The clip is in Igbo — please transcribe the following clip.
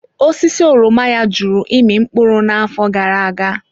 Osisi oroma ya jụrụ ịmị mkpụrụ n'afọ gara aga.